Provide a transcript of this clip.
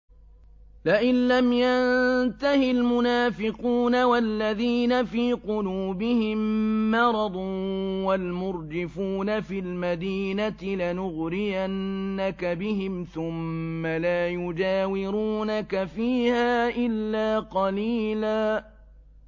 ۞ لَّئِن لَّمْ يَنتَهِ الْمُنَافِقُونَ وَالَّذِينَ فِي قُلُوبِهِم مَّرَضٌ وَالْمُرْجِفُونَ فِي الْمَدِينَةِ لَنُغْرِيَنَّكَ بِهِمْ ثُمَّ لَا يُجَاوِرُونَكَ فِيهَا إِلَّا قَلِيلًا